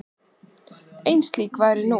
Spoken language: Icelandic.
Ein slík væru nú.